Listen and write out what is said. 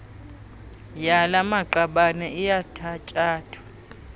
yala maqabane iyathatyathwa